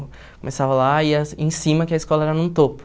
Começava lá e ia em cima, que a escola era num topo.